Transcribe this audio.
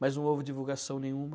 Mas não houve divulgação nenhuma.